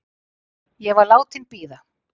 Ég var látin bíða.